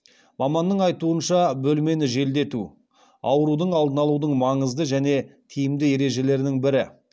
маманның айтуынша бөлмені желдету аурудың алдын алудың маңызды және тиімді ережелерінің бірі